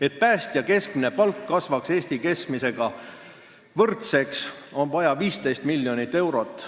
Et päästja keskmine palk kasvaks Eesti keskmisega võrdseks, on vaja 15 miljonit eurot.